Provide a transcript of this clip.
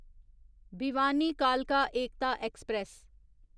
भिवानी कालका एकता एक्सप्रेस